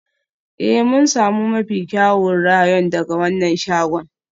Ee, mun sami mafi kyawun rayon daga wannan shagon.